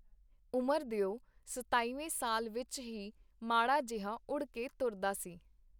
ਉਮਰ ਦਿਓ ਸਤਾਈਵੇਂ ਸਾਲ ਵਿਚ ਹੀ ਮਾੜਾ ਜਿਹਾ ਉੜ ਕੇ ਤੁਰਦਾ ਸੀ.